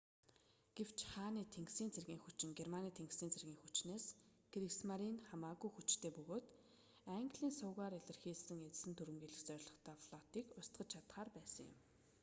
гэвч хааны тэнгисийн цэргийн хүчин германы тэнгисийн цэргийн хүчнээс кригсмаринь хамаагүй хүчтэй хэвээр бөгөөд английн сувгаар илгээсэн эзлэн түрэмгийлэх зорилготой флотыг устгаж чадахаар байсан юм